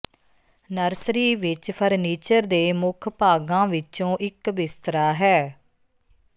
nursery ਵਿੱਚ furniture ਦੇ ਮੁੱਖ ਭਾਗਾਂ ਵਿੱਚੋਂ ਇਕ ਬਿਸਤਰਾ ਹੈ